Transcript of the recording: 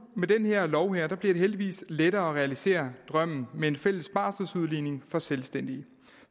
med den her lov bliver det heldigvis lettere at realisere drømmen med en fælles barselsudligning for selvstændige